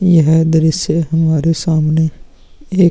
यह दृश्य हमारे सामने एक --